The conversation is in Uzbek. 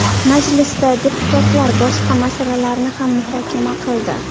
Majlisda deputatlar boshqa masalalarni ham muhokama qildi.